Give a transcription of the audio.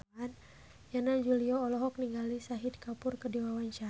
Yana Julio olohok ningali Shahid Kapoor keur diwawancara